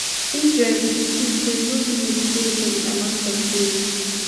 israel bin insist say no limits dey to di amount of aid